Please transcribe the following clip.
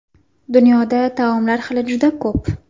Dunyoda taomlar xili juda ko‘p.